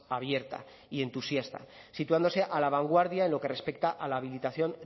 abierta y entusiasta situándose a la vanguardia en lo que respecta a la habilitación